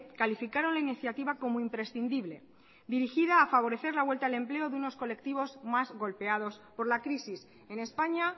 calificaron la iniciativa como imprescindible dirigida a favorecer la vuelta al empleo de unos colectivos más golpeados por la crisis en españa